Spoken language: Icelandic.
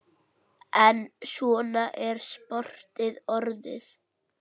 En svona er sportið orðið.